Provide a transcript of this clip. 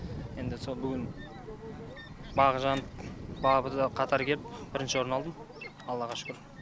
енді сол бүгін бағы жанып бабы да қатар келіп орын алдым аллаға шүкір